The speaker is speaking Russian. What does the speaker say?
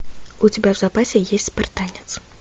у тебя в запасе есть спартанец